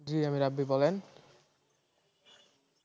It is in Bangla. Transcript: জি আমি রাব্বী বলেন